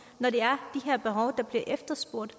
når det er her behov der bliver efterspurgt